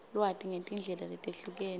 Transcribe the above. lwati ngetindlela letehlukene